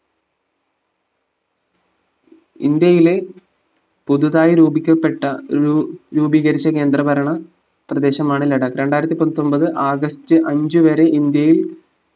ഇന്ത്യയിലെ പുതുതായി രൂപിക്കപ്പെട്ട രൂ രൂപീകരിച്ച കേന്ദ്രഭരണ പ്രദേശമാണ് ലഡാക്ക് രണ്ടിരത്തി പത്തൊമ്പത് ആഗസ്റ്റ് അഞ്ചു വരെ ഇന്ത്യയിൽ